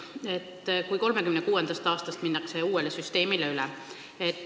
2036. aastast minnakse uuele süsteemile üle.